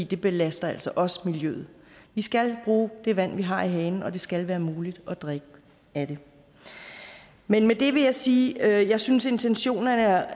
det belaster altså også miljøet vi skal bruge det vand vi har i hanen og det skal være muligt at drikke af det med det vil jeg sige at jeg synes intentionerne er